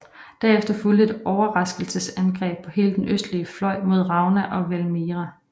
Derefter fulgte et overraskelsesangreb på hele den østlige fløj mod Rauna og Valmiera